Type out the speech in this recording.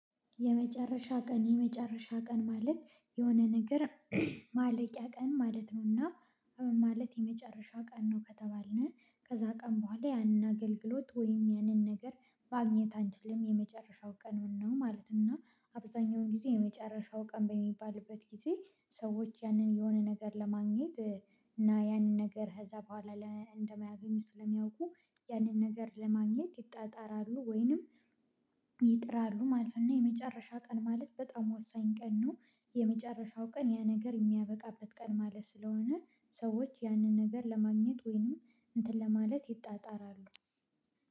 የመጨረሻ ቀን የመጨረሻ ቀን ማለት የሆነ ነገር ማለቂያ ቀን ማለት ነው። ና ማለት የመጨረሻ ቀን ነው ከተባልን ከዛ ቀን በኋላ ያንን አገልግሎት ወይም ያንን ነገር ማግኘት አንችልም። የመጨረሻው ቀኑን ነው ማለት። እና አብዛኛውን ጊዜ የመጨረሻው ቀን በሚባልበት ጊዜ ሰዎች ያንን የሆነ ነገር ለማግኘት እና ያንን ነገር ከዛ በኋላ እንደማያገኙት ስለሚያውቁ ያንን ነገር ለማግኘት ይጣጣራሉ ወይንም ይጥራሉ ማለት ነው። እና የመጨረሻ ቀን ማለት በጣም ወሳኝ ቀን ነው። የመጨረሻው ቀን ያ ነገር የሚያበቃበት ቀን ማለት ስለሆነ ሰዎች ያንን ነገር ለማግኘት ወይንም እንትን ለማለት ይጣጣራሉ።